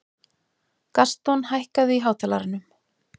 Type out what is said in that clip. Gaston, hækkaðu í hátalaranum.